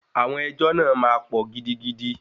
Àwọn ẹjọ́ náà máa pọ̀ gidigidi.